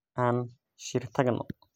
Aan shir tagno.